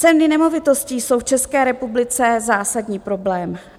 Ceny nemovitostí jsou v České republice zásadní problém.